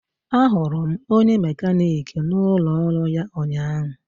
Ahụrụ m onye mekaniki n'ụlọ ọrụ ya ụnyahụ